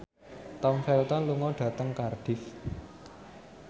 Tom Felton lunga dhateng Cardiff